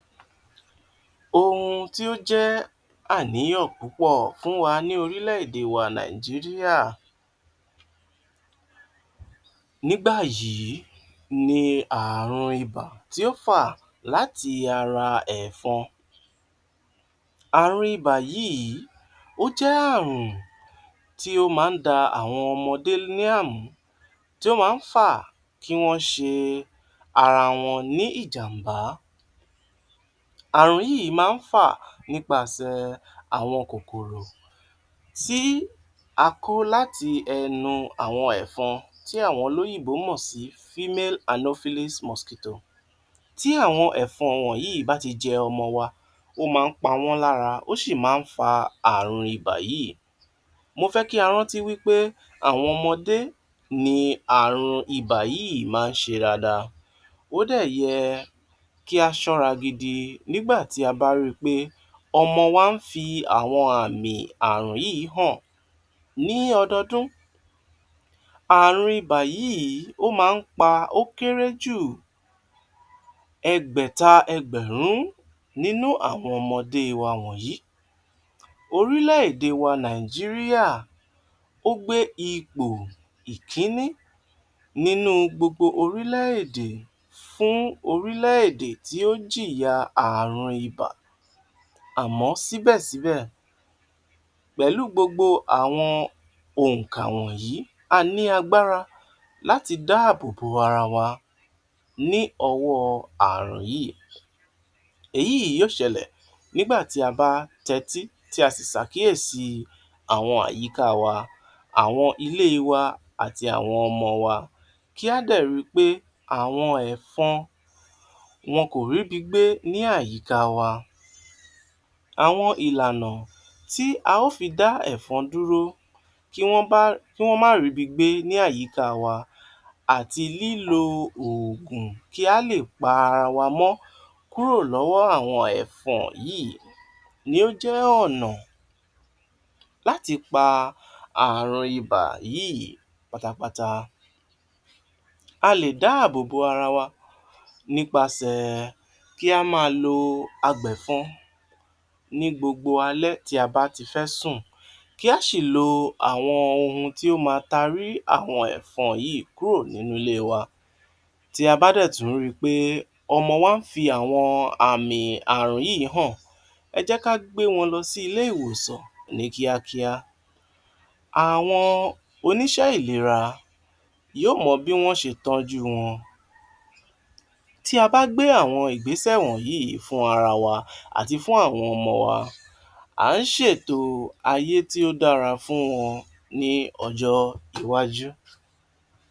Ohun tí ó jẹ́ àníyàn púpọ̀ fún wa ní orílẹ̀-èdè wa Nàìjíríà nígbà yìí ni àrùn ibà tí ó fà láti ara ẹ̀fọn. Àrùn ibà yìí, ó jẹ́ àrùn tí ó máa ń da àwọn ọmọdé ní àmú, tí ó máa ń fà kí wọ́n ṣe ara wọn ní ìjàmbá. Àrùn yìí máa ń fà nípasẹ̀ àwọn kòkòrò tí a kó láti ẹnu àwọn ẹ̀fọn tí àwọn olóyìnbó mọ̀ sí female anopheles mosquito. Tí àwọn ẹ̀fọn wọ̀nyí bá ti jẹ àwọn ọmọ wa, ó máa ń pa wọ́n lára, ó sì máa ń fa àrùn ibà yìí. Mo fẹ́ kí a rántí wí pé àwọn ọmọdé ní àrùn ibà yìí máa ń ṣe dáadáa, ó dẹ̀ yẹ kí a ṣọ́ra gidi nígbà tí a bá ri pé ọmọ wa ń fi àwọn àmì àrùn yìí hàn. Ní ọdọọdún, àrùn ibà yìí ó máa ń pa ó kéré jù ẹgbẹ̀ta ẹgbẹ̀rún nínú àwọn ọmọdé wa wọ̀nyí. Orílè-èdè wa Nàìjíríà ó gbé ipò ìkíni nínú gbogbo orílẹ̀-èdè fún orílẹ̀-èdè tí o jìyà àrùn ibà. Àmọ́ síbẹ̀ síbẹ̀ pẹ̀lú gbogbo òǹkà wọ̀nyí, a ní agbára láti dá àbò bo ara wa ní ọwọ́ọ àrùn yìí. Èyí yóò ṣẹlẹ̀ nígbà tí a bá tẹ́tí tí a sì ṣàkíyèsí àwọn àyíká wa, àwọn ilée wa àti àwọn ọmọ wa. Kí á dẹ̀ ri pé àwọn ẹ̀fọn wọn kò rí bi gbé ní àyíká wa. Àwọn ìlànà tí a ó fi dá ẹ̀fọn dúró kí wọ́n bá kí wọ́n má rí bi gbé ní àyíká wa, àti lílo oògùn kí á le pa ara wa mọ́ kúrò lọ́wọ́ àwọn ẹ̀fọn yìí ni ó jẹ́ ọ̀nà láti pa àrùn ibà yìí pátápátá. A lè dá àbò bo ara wa nípasẹ̀ kí á máa lo apẹ̀fọn ní gbogbo alẹ́ tí a bá ti fẹ́ sùn, kí á sì lo àwọn ohun tí ó ma tarí àwọn ẹ̀fọn yìí kúrò nínú ilée wa. Tí a bá dẹ̀ tún ń ri pé ọmọ wa ń fi àwọn àmì àrùn yìí hàn, ẹ jẹ́ ká gbé wọn lọ sí ilé ìwòsàn ní kíákíá. Àwọn oníṣẹ́ ìlera yóò mọ bí wọ́n ó ṣe tọ́jú wọn. Tí a bá gbé àwọn Ìgbésẹ̀ wọ̀nyí fún ara wa, àti fún àwọn ọmọ wa, à ń ṣètò ayé tí ó dára fún wọn ní ọjọ́ iwájú.